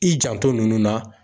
I janto nunnu na.